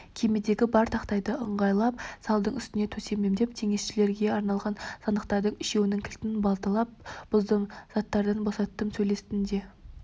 кемедегі бар тақтайды ыңғайлап салдың үстіне төседім теңізшілерге арналған сандықтардың үшеуінің кілтін балталап бұздым заттардан босаттым сөйттім де